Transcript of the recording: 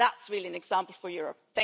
That is really an example for Europe.